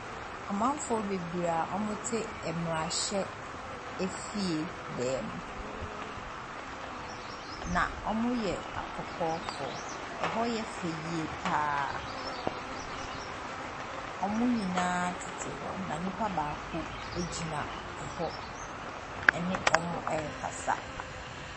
Amamfoɔ bebree a wɔte mmerahyɛfie dan mu, na wɔyɛ akɔkɔɔfo, hɔ yɛ fɛ yie pa ara. wɔn nyinaa tete hɔ na nipa baako gyina hɔ ne wɔn ɛrekasa.